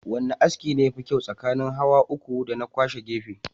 Wane aski ne yafi kyau tsakanin hawa uku dana kwashe gefe?